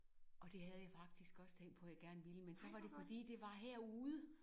Og det havde jeg faktisk også tænkt på jeg gerne ville men så var det fordi det var herude